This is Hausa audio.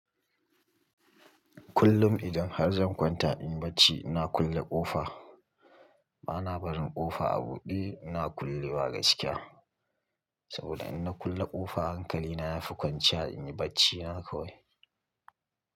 Kullum idan har zan kwanta in yi bacci ina kulle ƙofa. Bana barin ƙofa a buɗe ina kullewa gaskiya. Saboda in na kulle ƙofa hankali na yafi kwanciya in yi bacci na kawai.